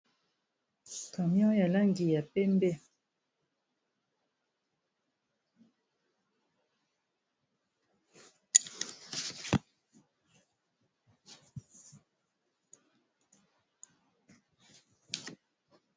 Camion ya langi ya pembe.